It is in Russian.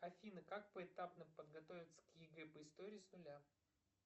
афина как поэтапно подготовиться к егэ по истории с нуля